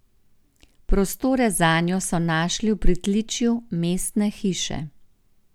Prostore zanjo so našli v pritličju Mestne hiše.